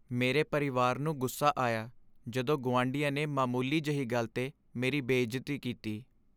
ਮੇਰੇ ਪਰਿਵਾਰ ਨੂੰ ਗੁੱਸਾ ਆਇਆ ਜਦੋਂ ਗੁਆਂਢੀਆਂ ਨੇ ਮਾਮੂਲੀ ਜਿਹੀ ਗੱਲ 'ਤੇ ਮੇਰੀ ਬੇਇੱਜ਼ਤੀ ਕੀਤੀ।